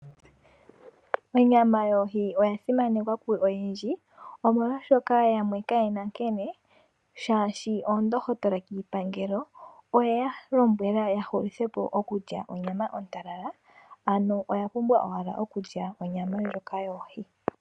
Onyama yohi oya simanekwa koyendji omolwaashoka yamwe kayena nkene shaashi oondohotola kiipangelo oye ya lombwela ya hulithepo oku lya onyama ontalala . Ano oya pumbwa owala okulya onyama ndjoka yoohi.